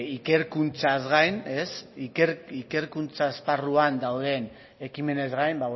ikerkuntzaz gain ikerkuntza esparruan dauden ekimenez gain